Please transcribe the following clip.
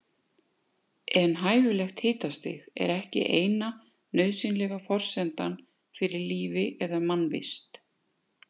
En hæfilegt hitastig er ekki eina nauðsynlega forsendan fyrir lífi eða mannvist.